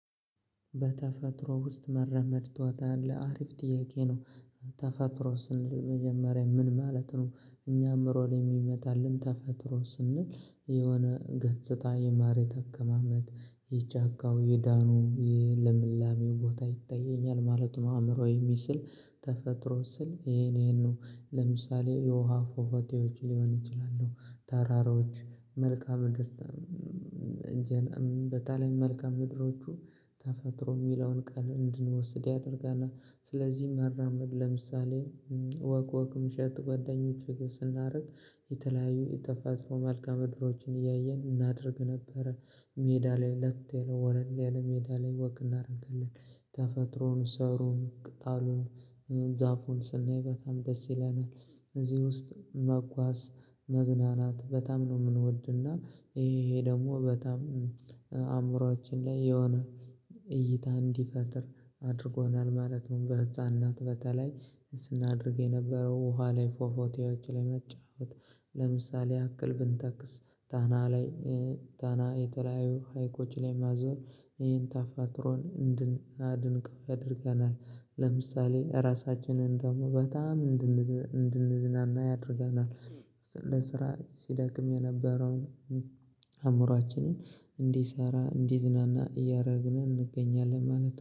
"በተፈጥሮ ውስጥ መራመድ ትወዳለህ?" አሪፍ ጥያቄ ነው ተፈጥሮ ስንል መጀመሪያ ምን ማለት ነው እኛም 'ሮል' የሚመጣልን ተፈጥሮ ውስጥ ስንውል የሆነ ገጽታ የመሬት አቀማመጥ የጫካው የደኑ ልምላሜ ቦታ ይታየኛል ማለት ነው። አእምሮዬ የሚስል ተፈጥሮ ስል ይሄን ይሄን ነው። ለምሳሌ የውሃ ፏፏቴዎች ሊሆኑ ይችላሉ፣ ተራሮች፣ መልከአ ምድር በተለይ መልካዓ ምድሮቹ ተፈጥሮ የሚለውን ቃል እንድንወስድ ያደርገናል። ስለዚህ መራመድ ለምሳሌ ወግ ወጉን 'ሼር' ከጓደኞቼ ጋር ስናደርግ የተለያዩ የተፈጥሮ መልካዓ ምድሮችን እያየን እናደርግ ነበረ። ሜዳ ላይ ለጥ ያለ ወለል ያለ ሜዳ ላይ 'ወክ' እናደርጋለን። ተፈጥሮውን፣ ሳሩን፣ ቅጣሉን ዛፉን ስናይ በጣም ደስ ይለናል። እዚህ ውስጥ መጓዝ መዝናናት በጣም ነው የምንወድና። ይሄ ይሄ ደግሞ በጣም አእምሮአችን ላይ የሆነ እይታ እንዲፈጥር አድርጎናል ማለት ነው። በዕፃንነት በተለይ ስናደርግ የነበረው ውሃ ላይ ፏፏቴዎች ላይ መጫወት ለምሳሌ ያክል ብንጠቅስ ጣና ላይ ጣና ላይ የተለያዩ ሀይቆች ላይ መዞር ይህን ተፈጥሮን እንድናደንቀው ያደርገናል። ለምሳሌ ራሳችንን ደግሞ በጣም እንድንዝናና ያደርገናል። ለስራ ስደክም የነበረውን አእምሮአችንን እንዲሰራ እንዲዝናና እያደረግን እንገኛለን ማለት ነው።